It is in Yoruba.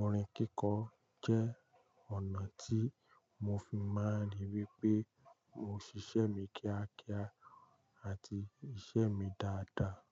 Orin kíkọ jẹ́ ọ̀nà tí mo fi máa ń ríi wí pé mo ṣíṣe mi kíákíá àti iṣẹ́ mi dáadáa.